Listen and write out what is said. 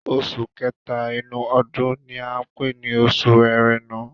Oṣù kẹ́tà inú ọdún ni à ń pè ni oṣù Ẹrẹ̀nà.